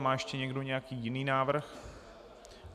Má ještě někdo nějaký jiný návrh?